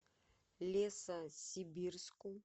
лесосибирску